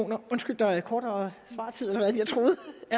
nå undskyld der er kortere svartid end jeg troede